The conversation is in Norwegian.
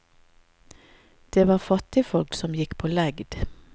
Det var fattigfolk som gikk på legd.